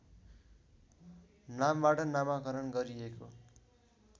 नामबाट नामाकरण गरिएको